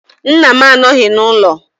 Nna m anọghị n’ụlọ